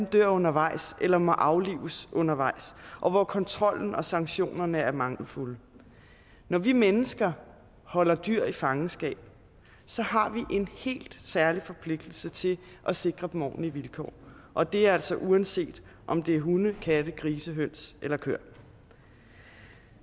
dør undervejs eller må aflives undervejs og hvor kontrollen og sanktionerne er mangelfulde når vi mennesker holder dyr i fangenskab har vi en helt særlig forpligtelse til at sikre dem ordentlige vilkår og det er altså uanset om det er hunde katte grise høns eller køer